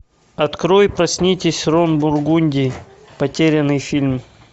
открой проснитесь рон бургунди потерянный фильм